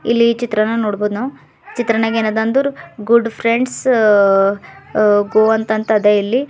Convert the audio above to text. ಇಲ್ಲಿ ಚಿತ್ರಾನ ನೋಡ್ಬೋದು ನಾವು ಚಿತ್ರನಗ ಏನೈತೆ ಅಂದ್ರು ಗುಡ್ ಫ್ರೆಂಡ್ಸ್ ಗೋ ಅಂತ ಅದ ಇಲ್ಲಿ.